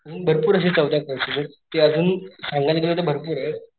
अजून भरपूर अशे चौदा कॉर्सेसेत ते अजून सांगायला गेलं तर भरपुरेत.